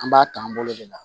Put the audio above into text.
An b'a ta an bolo de la